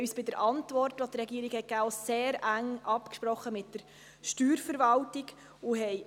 Wir haben uns bei der Antwort der Regierung sehr eng mit der Steuerverwaltung abgesprochen.